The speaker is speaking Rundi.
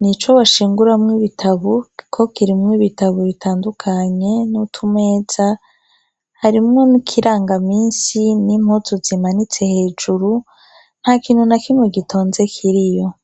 ni co bashinguramwo ibitabo kuko kirimo ibitabo bitandukanye n'utumeza. Harimo n'ikirangaminsi n'impuzu zimanitse igihe hejuru nta kintu na kimwe gitonze kiriyo.